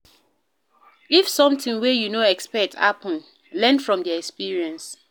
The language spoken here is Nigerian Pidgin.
If something wey you no expect happen, learn from the experience